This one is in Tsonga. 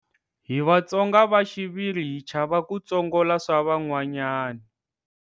Hi vatsonga va xiviri hi chava ku tsongola swavan'wanyani.